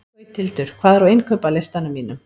Gauthildur, hvað er á innkaupalistanum mínum?